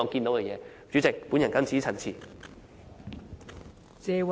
代理主席，我謹此陳辭。